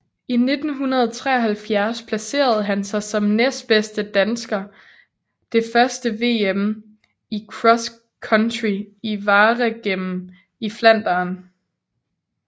I 1973 placerede han sig som næstbedste dansker det første VM i cross country i Waregem i Flandern